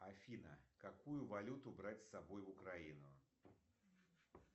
афина какую валюту брать с собой в украину